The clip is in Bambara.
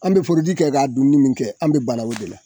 An' be forodi kɛ k'a dunni min kɛ an' be bara o de la.